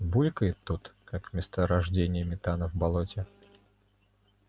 булькает тут как месторождение метана в болоте